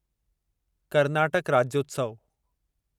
Karnataka Rajyotsav